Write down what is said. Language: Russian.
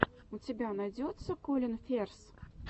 у тебя найдется колин ферз